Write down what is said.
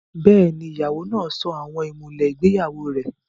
Bẹ́ẹ̀ni, ìyàwó náà sọ àwọn ìmùlẹ̀ ìgbéyàwó rẹ̀